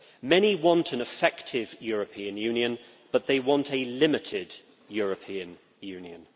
Many want an effective European Union, but they want a limited European Union.